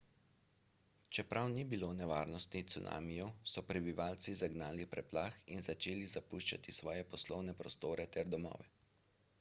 čeprav ni bilo nevarnosti cunamijev so prebivalci zagnali preplah in začeli zapuščati svoje poslovne prostore ter domove